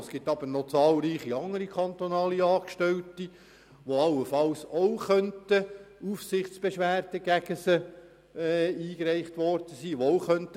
Es gibt jedoch zahlreiche andere kantonale Angestellte, gegen welche ebenfalls Aufsichtsbeschwerden eingereicht werden können.